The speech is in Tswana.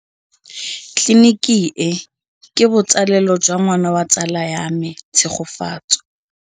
Tleliniki e, ke botsalêlô jwa ngwana wa tsala ya me Tshegofatso.